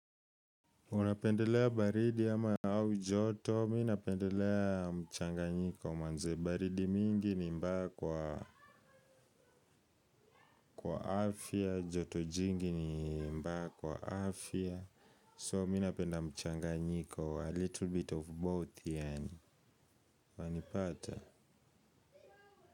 Unapendelea baridi ama au joto, mimi napendelea mchanganjiko manze baridi mingi ni mbaya kwa kwa afya, joto jingi ni mbaya kwa afya so mimi napenda mchanganyiko, a little bit of both yaani, wanipata.